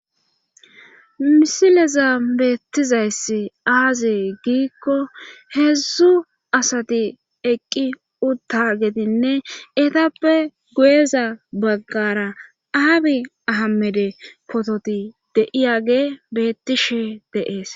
Misileza beettizayssi aazi giikko heedzdzu asati eqqi utta getinne etappe guyeza baggara aabi ahamede pototi deiyage beettishe deees